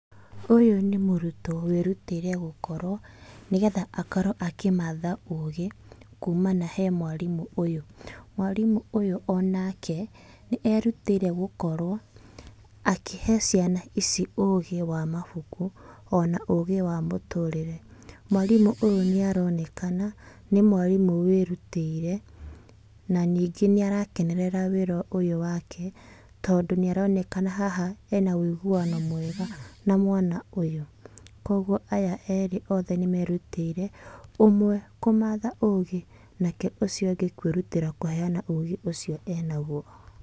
Ũyũ nĩ mũrutwo wĩrutĩire gũkorwo, nĩ getha akorwo akĩmatha ũgĩ, kumana he mwarimũ ũyũ. Mwarimũ ũyũ onake, nĩ erutĩire gũkorwo, akĩhe ciana ici ũgĩ wa mabuku ona ũgĩ wa mũtũrĩre. Mwarimũ ũyũ nĩ aronekana nĩ mwarimũ wĩrutĩire na ningĩ nĩ arakenerera wĩra ũyũ wake tondũ nĩ aronekana haha ena wĩiguano mwega na mwana ũyũ. Kũguo aya erĩ othe nĩ merutĩire, ũmwe kũmatha ũgi nake ũcio ũngĩ kũĩrutĩra kũheana ũgĩ ũcio ena guo.